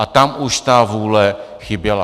Ale tam už ta vůle chyběla.